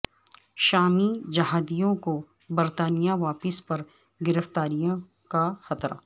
شامی جہادیوں کو برطانیہ واپسی پر گرفتاری کا خطرہ